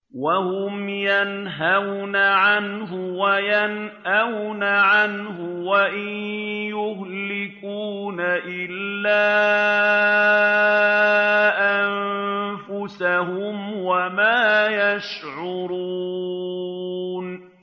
وَهُمْ يَنْهَوْنَ عَنْهُ وَيَنْأَوْنَ عَنْهُ ۖ وَإِن يُهْلِكُونَ إِلَّا أَنفُسَهُمْ وَمَا يَشْعُرُونَ